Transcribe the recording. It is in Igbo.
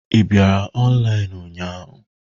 Ị bịara ọnlaịnụ ụnyahụ?